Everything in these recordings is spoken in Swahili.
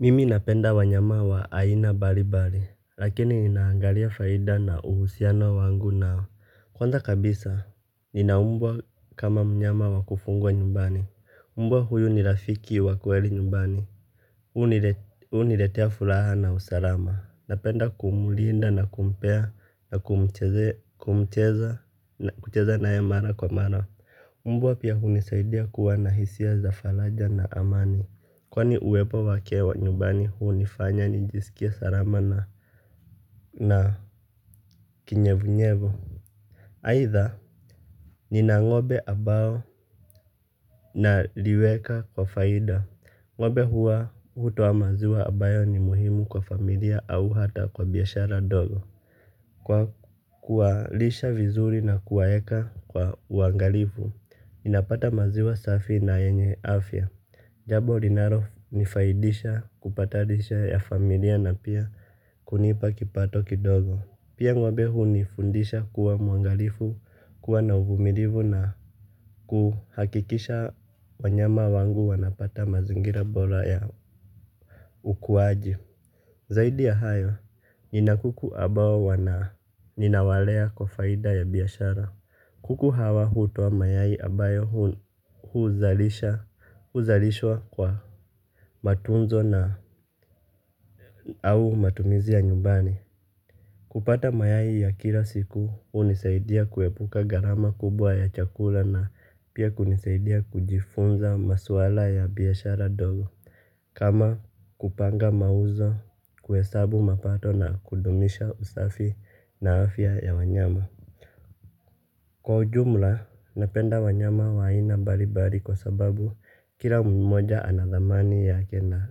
Mimi napenda wanyama wa aina mbalimbali, lakini ninaangalia faida na uhusiano wangu nao. Kwanza kabisa, nina mbwa kama mnyama wa kufugwa nyumbani. Mbwa huyu ni rafiki wa kweli nyumbani. Huniletea furaha na usalama. Napenda kumlinda na kumpea na kucheza naye mara kwa mara. Mbwa pia hunisaidia kuwa na hisia za faraja na amani. Kwani uwepo wake nyumbani hunifanya nijisikie salama na kinyevunyevu. Haitha, nina ng'ombe ambao nawaweka kwa faida. Ng'ombe huwa, hutoa maziwa ambayo ni muhimu kwa familia au hata kwa biashara dogo. Kwa kuwalisha vizuri na kuwaweka kwa uangalifu, ninapata maziwa safi na yenye afya. Jambo linalonifaidisha kupata lishe ya familia na pia kunipa kipato kidogo. Pia ng'ombe hunifundisha kuwa mwangalifu, kuwa na uvumilivu na kuhakikisha wanyama wangu wanapata mazingira bora ya ukuaji. Zaidi ya hayo, nina kuku ambao ninawalea kwa faida ya biashara. Kuku hawa hutoa mayai ambayo huzalishwa kwa matunzo na au matumizi ya nyumbani. Kupata mayai ya kila siku hunisaidia kuepuka gharama kubwa ya chakula na pia kunisaidia kujifunza masuala ya biashara ndogo. Kama kupanga mauzo, kuhesabu mapato na kudumisha usafi na afya ya wanyama. Kwa ujumla, napenda wanyama wa aina mbalimbali kwa sababu kila mmoja ana thamani yake na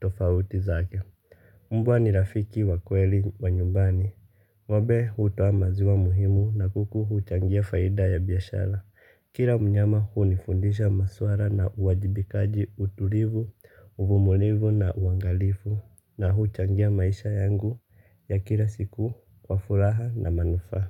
tofauti zake. Mbwa ni rafiki wa kweli wa nyumbani. Ng'ombe hutoa maziwa muhimu na kuku huchangia faida ya biashara. Kila mnyama hunifundisha masuala ya uwajibikaji, utulivu, uvumilivu na uangalifu, na huchangia maisha yangu ya kila siku kwa furaha na manufaa.